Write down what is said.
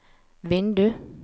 vindu